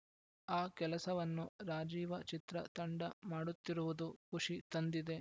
ಆ ಕೆಲಸವನ್ನು ರಾಜೀವ ಚಿತ್ರ ತಂಡ ಮಾಡುತ್ತಿರುವುದು ಖುಷಿ ತಂದಿದೆ